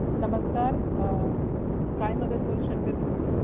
नमस्कार काय मदत करू शकते तुमची